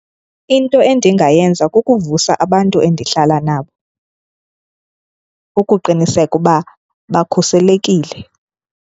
Into endingayenza kukuvusa abantu endihlala nabo ukuqiniseka uba bakhuselekile.